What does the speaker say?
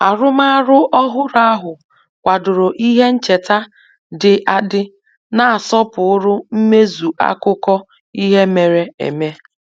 Arụmarụ ọhụrụ ahụ kwadoro ihe ncheta dị adị na-asọpụrụ mmezu akụkọ ihe mere eme